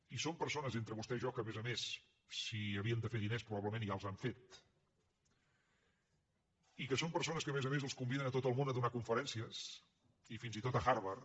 i són persones entre vostè i jo que a més a més si havien de fer diners probablement ja els han fet i que són persones que a més a més els conviden a tot el món a donar conferències i fins i tot a harvard